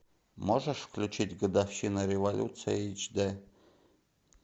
можешь включить годовщина революции эйч дэ